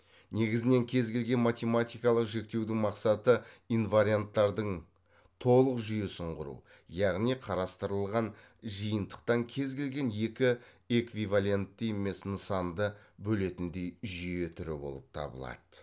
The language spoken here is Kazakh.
негізінен кез келген математикалық жіктеудің мақсаты инварианттардың толық жүйесін құру яғни қарастырылған жиынтықтан кез келген екі эквивалентті емес нысанды бөлетіндей жүйе түрі болып табылады